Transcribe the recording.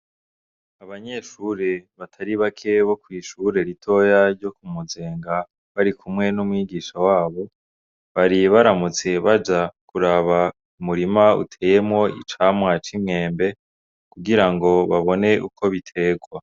Abanyeshure batari bake bo kw'ishure ritoya ryo ku muzinga, barikumwe n'umwigisha wabo, bari baramutse baja kuraba umurima uteyemwo icamwa c'imyembe, kugira ngo babone uko biterwa.